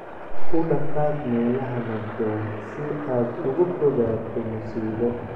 U dhaqaaq meelaha nabdoon si aad uga fogaato musiibo.""